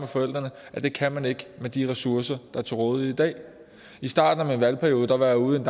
forældrene at det kan man ikke med de ressourcer der er til rådighed i dag i starten af min valgperiode var jeg ude i